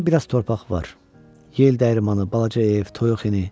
Orda biraz torpaq var, yel dəyirmanı, balaca ev, toyuq hini.